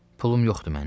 Pulm yoxdur mənim?